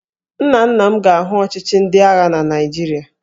Nna nna m ga-ahụ ọchịchị ndị agha na Naịjirịa